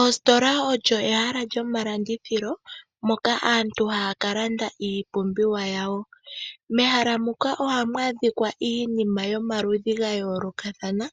Oositola olyo ehala lyomalandithilo moka aantu haya kalanda iipumbiwa yawo. Mehala muka ohamu adhika iinima yomaludhi gayoolokathana